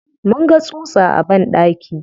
Mun ga tsutsa a banɗaki.